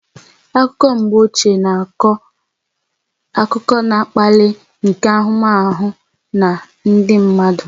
Akụkọ mgbe ochie na-akọ akụkọ na-akpali akpali nke ahụmahụ na ndị mmadụ